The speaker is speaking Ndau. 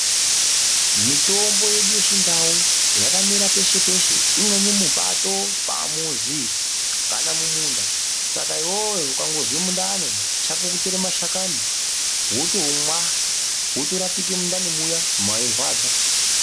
Mitombo yedu yechindau yakamera peshe peshe imweni mupato pamuzi kana mumunda saka iwewe ukazwe mundani chako kutore mashakani wotomqa wotorapike mindani mo mwairwadza.